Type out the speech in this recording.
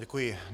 Děkuji.